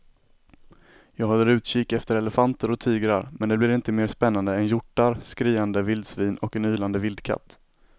Jag håller utkik efter elefanter och tigrar men det blir inte mer spännande än hjortar, skriande vildsvin och en ylande vildkatt.